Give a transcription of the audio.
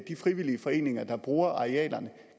de frivillige foreninger der bruger arealerne